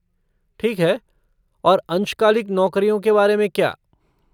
ठीक है और अंशकालिक नौकरियों के बारे में क्या?